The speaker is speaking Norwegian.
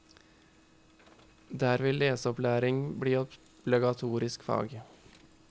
Der vil leseopplæring bli obligatorisk fag.